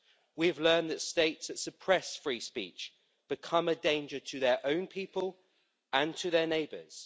We have learned that states that suppress free speech become a danger to their own people and to their neighbours.